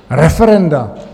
Referenda?